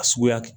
A suguya